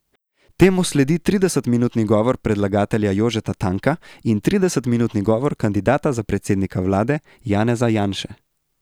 Temu sledi trideset minutni govor predlagatelja Jožeta Tanka in trideset minutni govor kandidata za predsednika vlade Janeza Janše.